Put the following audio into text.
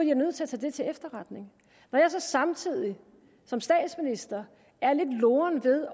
jeg nødt til at tage til efterretning når jeg så samtidig som statsminister er lidt loren ved